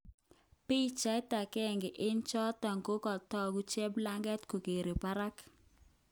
Pichait agenge eng choton kotoku cheblager kokere barak